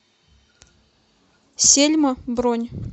сельма бронь